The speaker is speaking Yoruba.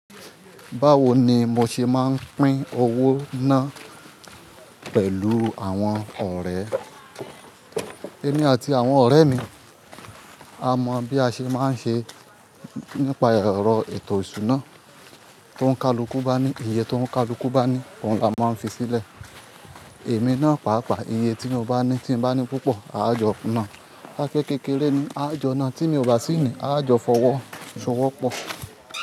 Báwo ni mo ṣe máa ń pín owó ná pẹ̀lú àwọn ọ̀rẹ́? Èmi àti àwọn ọ̀rẹ́ mi a mọ bí a ṣe máa ń ṣe nípa ẹ̀rọ ètò ìṣúná tó ń kalukú bá ní, ìyè tó ń kalukú bá ní, òun la máa ń fi sílẹ̀. Èmi náà pàápàá ìyè tí mo bá ní tí mo bá ní púpọ̀ a jọ nàá, kape kékeré ni a jọ nàá, tí mi ò bá sí ni a jọ fọwọ́ ṣọwọ́ pọ̀